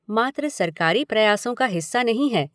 मात्र सरकारी प्रयासों का हिस्सा नहीं है